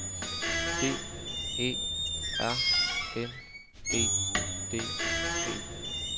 D E R N E D E